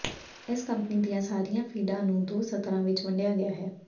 ਇਸ ਕੰਪਨੀ ਦੀਆਂ ਸਾਰੀਆਂ ਫੀਡਾਂ ਨੂੰ ਦੋ ਸਤਰਾਂ ਵਿੱਚ ਵੰਡਿਆ ਗਿਆ ਹੈ